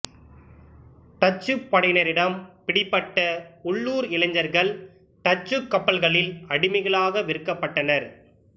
டச்சுப் படையினரிடம் பிடிபட்ட உள்ளூர் இளைஞர்கள் டச்சுக் கப்பல்களில் அடிமைகளாக விற்கப்பட்டனர்